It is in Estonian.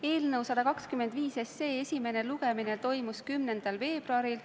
Eelnõu 125 esimene lugemine toimus 10. veebruaril.